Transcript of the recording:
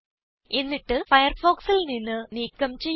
എന്നിട്ട് ഫയർഫോക്സിൽ നിന്ന് നീക്കം ചെയ്യുക